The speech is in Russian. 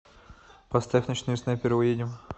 поставь ночные снайперы уедем